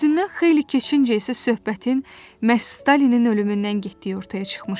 Üstündən xeyli keçincə isə söhbətin məhz Stalinin ölümündən getdiyi ortaya çıxmışdı.